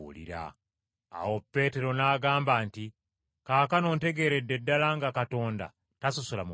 Awo Peetero n’agamba nti, “Kaakano ntegeeredde ddala nga Katonda tasosola mu bantu,